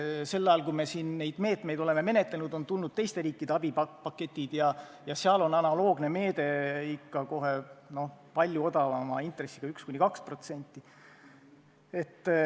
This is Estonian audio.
Sel ajal kui me siin neid meetmeid oleme menetlenud, on tulnud teiste riikide abipaketid ja seal on analoogne meede ikka kohe palju odavama intressiga, 1–2%.